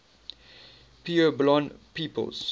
puebloan peoples